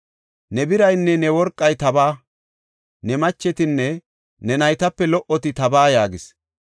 “Ne biraynne ne worqay tabaa; ne machetinne ne naytape lo77oti tabaa” yaagis.